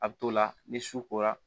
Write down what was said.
A bɛ t'o la ni su kora